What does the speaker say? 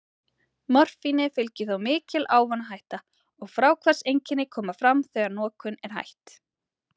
Morfíni fylgir þó mikil ávanahætta, og fráhvarfseinkenni koma fram þegar notkun er hætt.